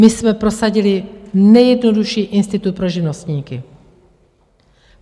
My jsme prosadili nejjednodušší institut pro živnostníky.